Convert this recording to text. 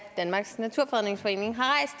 danmarks naturfredningsforening